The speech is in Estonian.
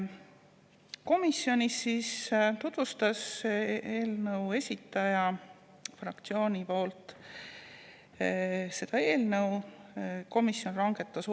Fraktsiooni esindaja tutvustas komisjonis seda eelnõu ja komisjon langetas otsused.